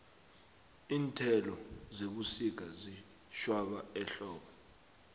iinthelo zebusika ziyatjhwaba ehlobo